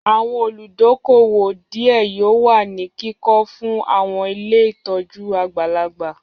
Àwọn olùdókóówò díẹ̀ yóò wà ní kíkọ fún àwọn ilé ìtọ́jú àgbàlagbà